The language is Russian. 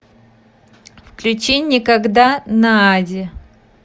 включи никогда наади